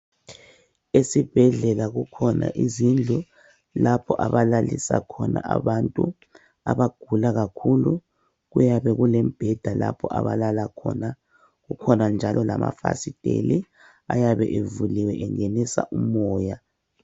Esibhedlela kukhona izindlu lapho abalalisa khona abantu abagula kakhulu. Kuyabe kulembheda lapho abalala khona, kukhona njalo lamafasiteli ayabe evuliwe engenisa umoya.